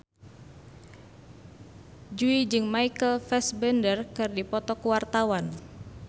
Jui jeung Michael Fassbender keur dipoto ku wartawan